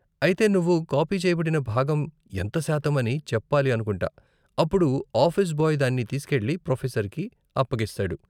అయితే నువ్వు కాపీ చేయబడిన భాగం ఎంత శాతం అని చెప్పాలి అనుకుంటా, అప్పుడు ఆఫీస్ బాయ్ దాన్ని తీస్కెళ్ళి ప్రొఫెసర్కి అప్పగిస్తాడు.